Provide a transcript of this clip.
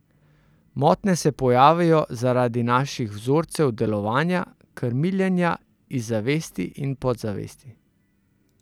Motnje se pojavijo zaradi naših vzorcev delovanja, krmiljenja iz zavesti in podzavesti.